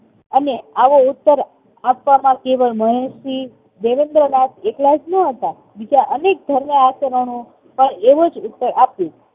અને આવો ઉત્તર આપવામાં મહર્ષિ દેવેન્દ્રનાથ એકલા જ ન હતા. બીજા અનેક ધર્મ આચાર્યોએ પણ એવો જ ઉત્તર આપ્યો